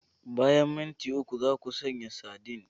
Bayan minti uku, za ku sanya sardine.